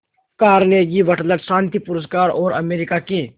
Carnegie Wateler शांति पुरस्कार और अमेरिका के